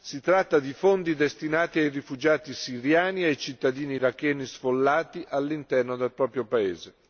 Si tratta di fondi destinati ai rifugiati siriani e ai cittadini iracheni sfollati all'interno del proprio paese.